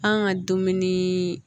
An ka dumuni